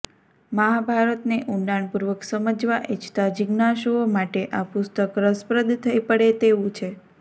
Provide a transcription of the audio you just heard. મહાભારતને ઊંડાણપૂર્વક સમજવા ઈચ્છતા જિજ્ઞાસુઓ માટે આ પુસ્તક રસપ્રદ થઈ પડે તેવું છે